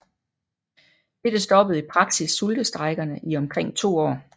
Dette stoppede i praksis sultestrejkerne i omkring to år